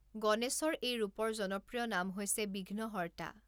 গণেশৰ এই ৰূপৰ জনপ্ৰিয় নাম হৈছে 'বিঘ্নহৰ্তা'।